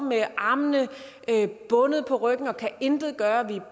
med armene bundet på ryggen og kan intet gøre og vi